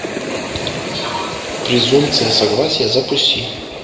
презумпция согласия запусти